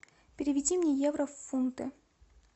переведи мне евро в фунты